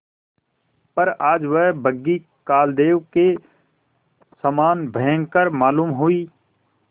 पर आज वह बग्घी कालदेव के समान भयंकर मालूम हुई